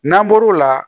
N'an bɔr'o la